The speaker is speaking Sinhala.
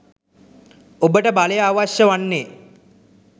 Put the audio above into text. ඔබට බලය අවශ්‍ය වන්නේ